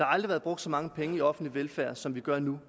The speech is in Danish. aldrig været brugt så mange penge i offentlig velfærd som vi gør nu